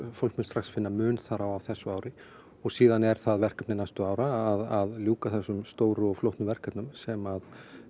fólk mun strax finna mun þar á á þessu ári og síðan er það verkefni næstu ára að ljúka þessum stóru og flóknu verkefnum sem